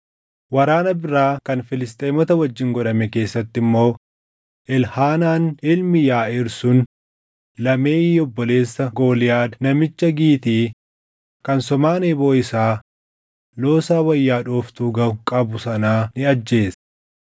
Waraana biraa kan Filisxeemota wajjin godhame keessatti immoo Elhaanaan ilmi Yaaʼiir sun Lahemii obboleessa Gooliyaad namicha Gitii kan somaan eeboo isaa loosaa wayya dhooftuu gaʼu qabu sanaa ni ajjeese.